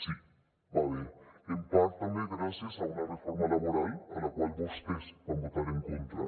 sí va bé en part també gràcies a una reforma laboral a la qual vostès van votar en contra